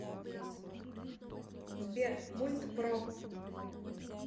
сбер мульт про